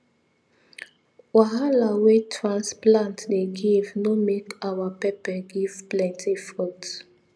wahala wey transplant dey give no make our pepper give plenty fruit